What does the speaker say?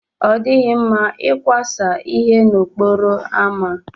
Ọ dịghị mma ịkwasa ihe n'okporo ámá.